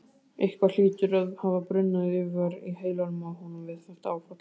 Eitthvað hlýtur að hafa brunnið yfir í heilanum á honum við þetta áfall.